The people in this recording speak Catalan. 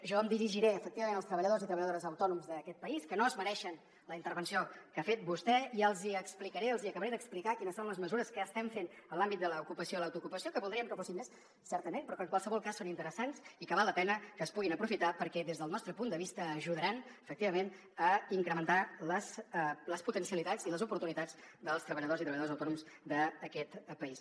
jo em dirigiré efectivament als treballadors i treballadores autònoms d’aquest país que no es mereixen la intervenció que ha fet vostè i els hi explicaré els hi acabaré d’explicar quines són les mesures que estem fent en l’àmbit de l’ocupació i l’autoocupació que voldríem que fossin més certament però que en qualsevol cas són interessants i que val la pena que es puguin aprofitar perquè des del nostre punt de vista ajudaran efectivament a incrementar les potencialitats i les oportunitats dels treballadors i treballadores autònoms d’aquest país